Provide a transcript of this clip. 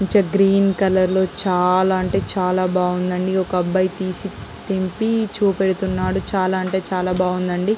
Green colour లో చాలా అంటే చాలా బాగున్నాయి అండి. ఒక అబ్బాయే తెంపి చూపిస్తున్నాడు. చాలా అంటే చాల బాగుండి అండి.